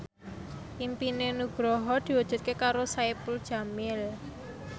impine Nugroho diwujudke karo Saipul Jamil